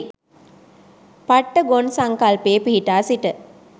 පට්ටි ගොන් සංකල්පයේ පිහිටා සිට